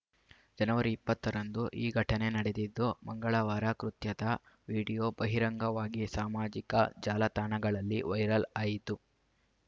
ಜನವರಿ ಇಪ್ಪತ್ತ ರಂದು ಈ ಘಟನೆ ನಡೆದಿದ್ದು ಮಂಗಳವಾರ ಕೃತ್ಯದ ವಿಡಿಯೋ ಬಹಿರಂಗವಾಗಿ ಸಾಮಾಜಿಕ ಜಾಲ ತಾಣಗಳಲ್ಲಿ ವೈರಲ್‌ ಆಯಿತು